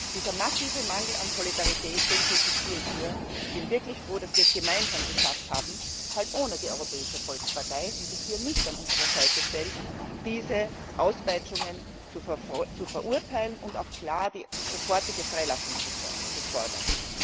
Diesen massiven Mangel an Solidarität kritisiere ich hier und bin wirklich froh, dass wir es gemeinsam geschafft haben halt ohne die Europäische Volkspartei, die sich hier nicht an unsere Seite stellt diese Auspeitschungen zu verurteilen und auch klar die sofortige Freilassung zu fordern.